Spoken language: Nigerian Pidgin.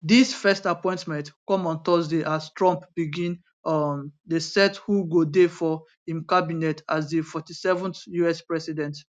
dis first appointment come on thursday as trump begin um dey set who go dey for im cabinet as di 47th us president